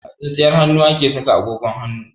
A tsintsiyar hannu ake saka agogon hannu.